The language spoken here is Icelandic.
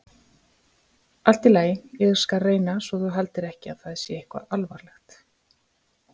Allt í lagi, ég skal reyna svo þú haldir ekki að það sé eitthvað alvarlegt.